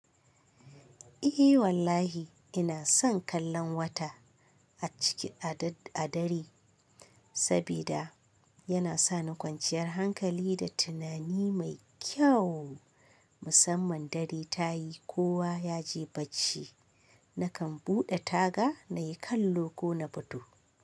Eh wallahi ina son kallon wata a ciki a dare sabida yana sani kwanciyar hankali da tunani mai kyau. Musamman dare tayi kowa yaje bacci nakan buɗe taga nayi kallo ko na fito.